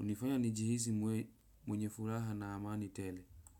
unifanya njihizi mwenye furaha na amani tele.